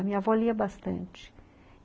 A minha avó lia bastante.